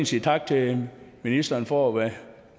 sige tak til ministeren for at være